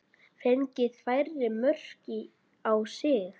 Fengið færri mörk á sig?